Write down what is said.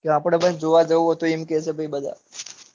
તો આપડે પણ જોવા જઉ સ એમ કેસે બધા